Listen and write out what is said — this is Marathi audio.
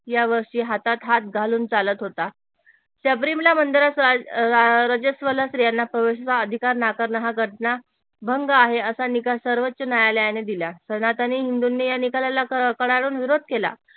या वर्षी हातात हात घालून चालत होता शबरीमाला मंदिरात स्त्रियांना प्रवेश व अधिकार नाकारण हा घटना भंग आहे असा निकाल सर्वोच्च न्यायालयाने दिला सनातनी हिंदूंनी या निकालाला कडाडून विरोध केला